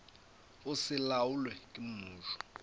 go se laolwe ke mmušo